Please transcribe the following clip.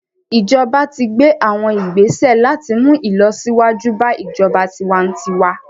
Ijọba ti gbe awọn igbese lati mu ilọsiwaju ba ijọba tiwantiwa